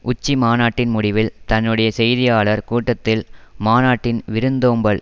உச்சிமாநாட்டின் முடிவில் தன்னுடைய செய்தியாளர் கூட்டத்தில் மாநாட்டின் விருந்தோம்பல்